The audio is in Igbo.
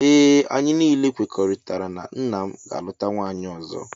Ee anyị niile kwekoritara na nna m ga aluta nwaanyị ọzọ.